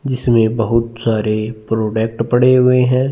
जिस ने बहोत सारे प्रोडक्ट पड़े है।